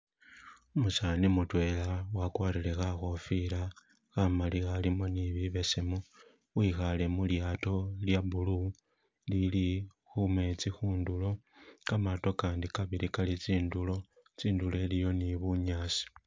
Umusani mutwela wakwarire khakhofila khamali akhalimo ni bibesemu, wikhale mulyaato lya blue ilili khumetsi khundulo, kamaato akandi kabili kali tsindulo, tsindulo aliyo ni bunyaasi.